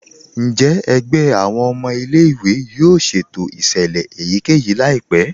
Njẹ́ ègbẹ̀ awọn ọmọ ilẹ̀-ìwé yóò ṣétò iṣẹ́lẹ̀ èyíkẹ́yí laípẹ̀?